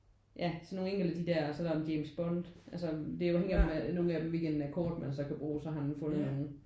Ja sådan nogle enkelte af de der og så er der en James Bond altså det er afhængig af nogen af dem hvilken akkord man så kan bruge så har han fundet nogen